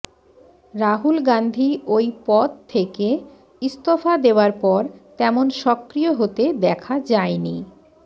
রাহুল গান্ধী ওই পদ থেকে ইস্তফা দেওয়ার পর তেমন সক্রিয় হতে দেখা যায়নি